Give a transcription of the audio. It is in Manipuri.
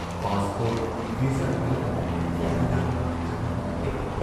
ꯄꯥꯁ ꯄꯥꯁꯄꯣꯔꯠ, ꯚꯤꯖꯥ ꯌꯥꯎꯗꯅ ꯃꯐꯝꯗꯨꯗ ꯆꯪꯍꯟꯕ ꯅꯠꯇꯦ ꯫